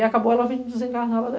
E acabou ela vindo.